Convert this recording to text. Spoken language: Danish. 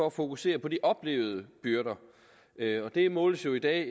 at fokusere på de oplevede byrder det måles jo i dag